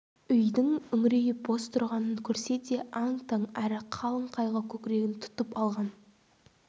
үйдің үңірейіп бос тұрғанын көрсе де аң-таң әрі қалың қайғы көкірегін тұтып алған